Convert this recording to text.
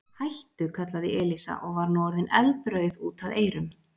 Hættu! kallaði Elísa og var nú orðin eldrauð út að eyrum.